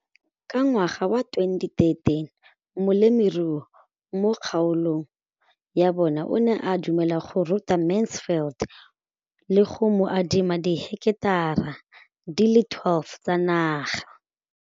Ka ngwaga wa 2013, molemirui mo kgaolong ya bona o ne a dumela go ruta Mansfield le go mo adima di heketara di le 12 tsa naga.